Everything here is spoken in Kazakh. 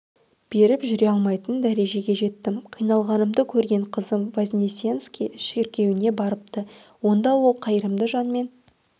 беріп жүре алмайтын дәрежеге жеттім қиналғанымды көрген қызым вознесенский шіркеуіне барыпты онда ол қайырымды жанмен